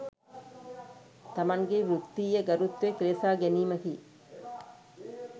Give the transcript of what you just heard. තමන්ගේ වෘත්තීය ගරුත්වය කෙලෙසා ගැනීමකි